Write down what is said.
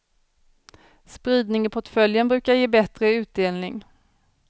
Spridning i portföljen brukar ge bättre utdelning.